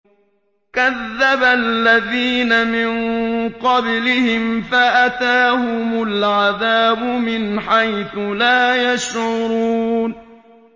كَذَّبَ الَّذِينَ مِن قَبْلِهِمْ فَأَتَاهُمُ الْعَذَابُ مِنْ حَيْثُ لَا يَشْعُرُونَ